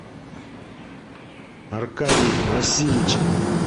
аркадий васильевич